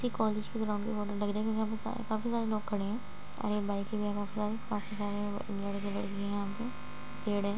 यह कॉलेज के ग्राऊंड की फोटो लग रही है | यहाँ पर काफी सारे लोग खड़े है और एक बाइक काफी सारी काफी सारे लड़के-लडकियां हैं यहाँ पे पेड़ है |